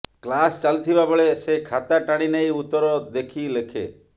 class ଚାଲିଥିବା ବେଳେ ସେ ଖାତା ଟାଣି ନେଇ ଉତ୍ତର ଦେଖି ଲେଖେ